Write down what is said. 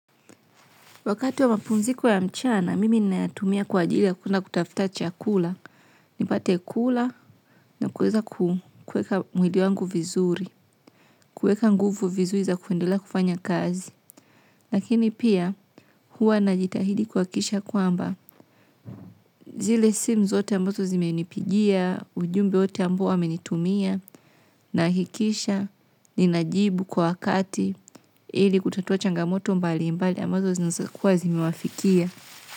Wakati wa mapumziko ya mchana, mimi ninayatumia kwa ajili ya kwenda kutafuta chakula. Nipate kula, na kuweza kuweka mwili wangu vizuri. Kuweka nguvu vizuri za kuendelea kufanya kazi. Lakini pia, huwa najitahidi kuhakikisha kwamba. Zile simu zote ambazo zimenipigia, ujumbe wote ambao amenitumia, nahakikisha, ninajibu kwa wakati, ili kutatua changamoto mbali mbali, ambazo zinaeza kuwa zimewafikia.